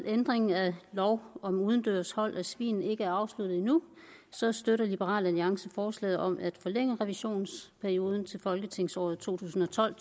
ændring af lov om udendørs hold af svin ikke er afsluttet endnu støtter liberal alliance forslaget om at forlænge revisionsperioden til folketingsåret to tusind og tolv